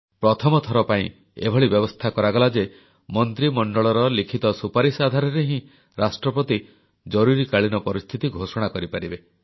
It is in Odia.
ପ୍ରଥମଥର ପାଇଁ ଏଭଳି ବ୍ୟବସ୍ଥା କରାଗଲା ଯେ ମନ୍ତ୍ରିମଣ୍ଡଳର ଲିଖିତ ସୁପାରିଶ ଆଧାରରେ ହିଁ ରାଷ୍ଟ୍ରପତି ଜରୁରୀକାଳୀନ ପରିସ୍ଥିତି ଘୋଷଣା କରିପାରିବେ